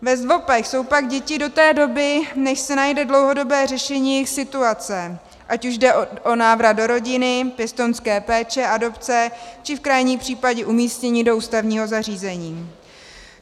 Ve ZDVOPech jsou pak děti do té doby, než se najde dlouhodobé řešení jejich situace, ať už jde o návrat do rodiny, pěstounská péče, adopce či v krajním případě umístění do ústavního zařízení.